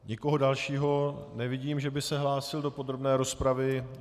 Nikoho dalšího nevidím, že by se hlásil do podrobné rozpravy.